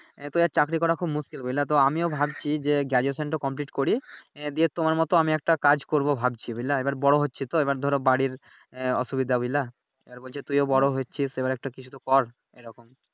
আহ তো এক চাকরি করা খুব মুশকিল বুঝলা তো আমিও ভাবছি যে Graduation টা কমপ্লিট করি এই দিয়ে দেব তোমার মতো আমি একটা কাজ করবো ভাবছি বুঝলা এইবার বড় হচ্ছি তো এইবার ধরো বাড়ির এহ অসুবিধা বুঝলা। আর বলছে তুই ও বড় হচ্ছিস এইবার একটা কিছুতো কর এইরকম।